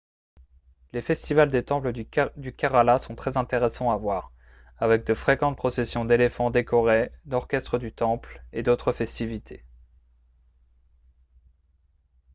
les festivals des temples du kerala sont très intéressants à voir avec de fréquentes processions d'éléphants décorés l'orchestre du temple et d'autres festivités